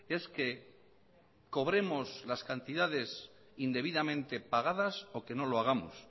es que cobremos las cantidades indebidamente pagadas o que no lo hagamos